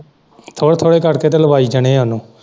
ਥੋੜੇ ਥੋੜੇ ਕਰਕੇ ਤੇ ਲਵਾਈ ਜਾਣੇ ਉਹਨੂੰ।